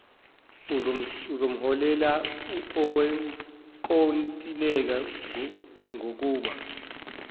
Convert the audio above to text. uzomholela owenkontileka ngokuba